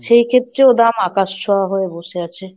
সেই ক্ষেত্রেও দাম আকাশ ছোঁয়া হয়ে বসে আছে।